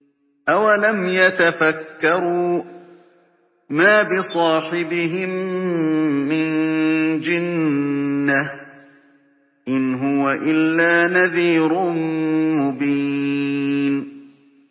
أَوَلَمْ يَتَفَكَّرُوا ۗ مَا بِصَاحِبِهِم مِّن جِنَّةٍ ۚ إِنْ هُوَ إِلَّا نَذِيرٌ مُّبِينٌ